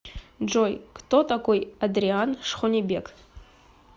джой кто такой адриан шхонебек